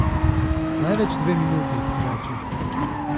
Največ dve minuti, reče.